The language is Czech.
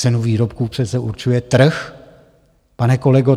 Cenu výrobků přece určuje trh, pane kolego.